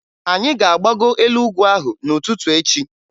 Anyị ga-agbago elu ugwu ahụ n'ụtụtụ echi